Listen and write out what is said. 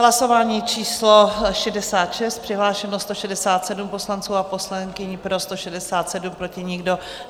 Hlasování číslo 66, přihlášeno 167 poslanců a poslankyň, pro 167, proti nikdo.